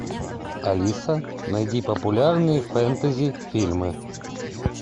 алиса найди популярные фэнтези фильмы